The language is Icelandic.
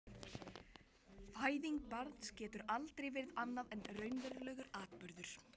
Fæðing barns getur aldrei verið annað en raunverulegur atburður.